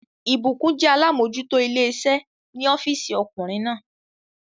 Ìbùkún jẹ́ alámójútó ilé iṣẹ́ ní ọ́físì ọkùnrin náà